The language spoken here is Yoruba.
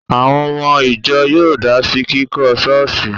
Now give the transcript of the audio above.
Àwọn ọmọ ìjọ yóò dá sí kíkọ́ ṣọ́ọ̀ṣì